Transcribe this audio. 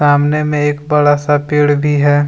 सामने में एक बड़ा सा पेड़ भी है।